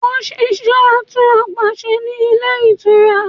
Ó n ṣiṣẹ́ atún ọgbà ṣe ní Ilé Ìtura